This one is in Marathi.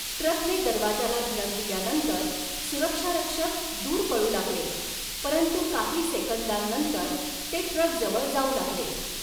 ट्रकने दरवाजाला धडक दिल्यानंतर सुरक्षारक्षक दूर पळू लागले, परंतु काही सेकंदांनंतर ते ट्रकजवळ जाऊ लागले.